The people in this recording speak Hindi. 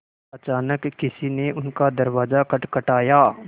अचानक किसी ने उनका दरवाज़ा खटखटाया